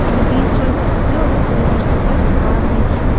இந்த tea stall பக்கத்தில ஒரு சில்வர் கலர் கார் நிக்கிது.